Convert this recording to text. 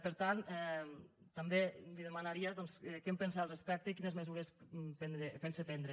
per tant també li demanaria doncs què en pensa al respecte i quines mesures pensa prendre